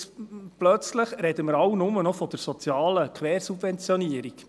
plötzlich sprechen wir alle nur noch von der sozialen Quersubventionierung.